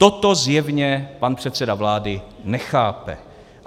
Toto zjevně pan předseda vlády nechápe.